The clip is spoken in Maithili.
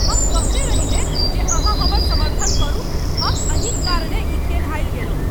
हम कहने रही ने जे अहाँ हमर समर्थन करू। हम अहीं क कारणेँ ई खेल हारि गेलहुँ!